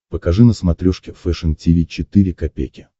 покажи на смотрешке фэшн ти ви четыре ка